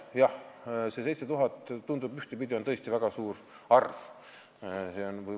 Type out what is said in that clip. Jah, see 7000 tundub ühtepidi võttes tõesti väga suure arvuna.